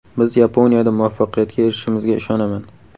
Biz Yaponiyada muvaffaqiyatga erishishimizga ishonaman.